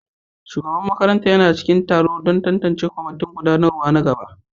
Shugaban makarantar yana cikin taro don tantance kwamitin gudanarwa na gaba